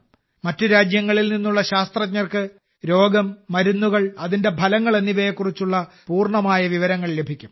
മറ്റ് രാജ്യങ്ങളിൽ നിന്നുള്ള ശാസ്ത്രജ്ഞർക്ക് രോഗം മരുന്നുകൾ അതിന്റെ ഫലങ്ങൾ എന്നിവയെക്കുറിച്ചുള്ള പൂർണ്ണമായ വിവരങ്ങൾ ലഭിക്കും